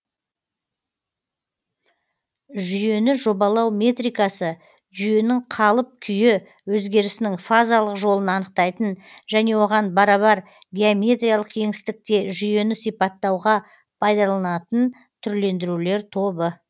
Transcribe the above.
жүйені жобалау метрикасы жүйенің қалып күйі өзгерісінің фазалық жолын анықтайтын және оган барабар геометриялық кеңістікге жүйені сипаттауға пайдаланылатын түрлендірулер тобы